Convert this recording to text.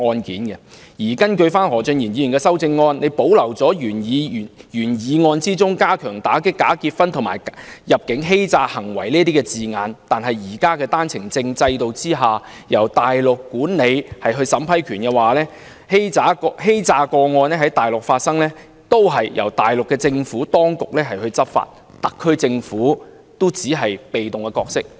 然而，根據何俊賢議員的修正案，他保留了原議案中加強打擊跨境假結婚及入境欺詐行為的字眼，但單程證制度現時由大陸管理審批權，欺詐個案若在大陸發生也會由大陸政府當局執法，特區政府只能擔當被動的角色。